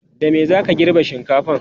da me zaka girbe shinkafan?